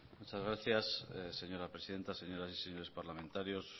muchas gracias señora presidenta señoras y señores parlamentarios